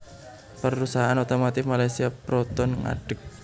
Perusahaan otomotif Malaysia Proton ngadeg